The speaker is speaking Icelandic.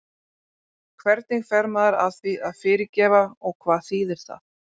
Hvernig fer maður að því að fyrirgefa og hvað þýðir það?